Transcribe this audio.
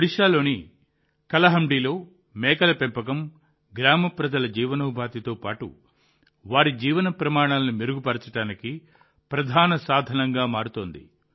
ఒడిషాలోని కలహండిలో మేకల పెంపకం గ్రామ ప్రజల జీవనోపాధితో పాటు వారి జీవన ప్రమాణాలను మెరుగుపరచడానికి ప్రధాన సాధనంగా మారుతోంది